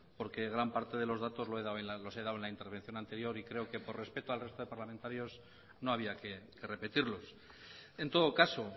porque gran parte de los datos los he dado en la intervención anterior y creo que por respeto al resto de los parlamentarios no había que repetirlos en todo caso